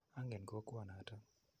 Angen kokwo notok.